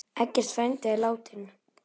Eggert frændi er látinn.